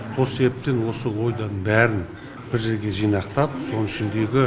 сол себептен осы ойдың бәрін бір жерге жинақтап соның ішіндегі